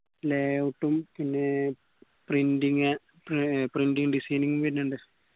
layout പിന്നെ printing ഏർ pr printing designing വരിന്നിണ്ട്